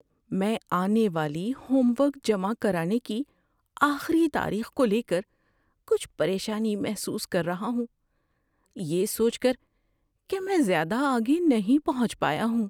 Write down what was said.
میں آنے والی ہوم ورک جمع کرانے کی آخری تاریخ کو لے کر کچھ پریشانی محسوس کر رہا ہوں، یہ سوچ کر کہ میں زیادہ آگے نہیں پہنچ پایا ہوں۔